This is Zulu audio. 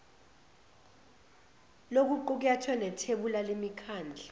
lokuqukethwe nethebula lemikhandlu